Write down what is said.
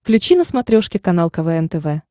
включи на смотрешке канал квн тв